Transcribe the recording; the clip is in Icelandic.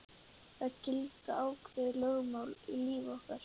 Það gilda ákveðin lögmál í lífi okkar.